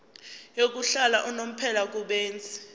yokuhlala unomphela kubenzi